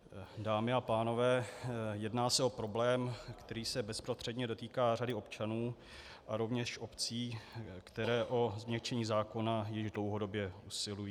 Dámy a pánové, jedná se o problém, který se bezprostředně dotýká řady občanů a rovněž obcí, které o změkčení zákona již dlouhodobě usilují.